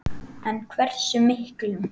En hversu miklum?